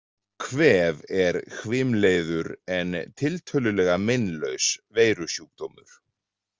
Kvef er hvimleiður en tiltölulega meinlaus veirusjúkdómur.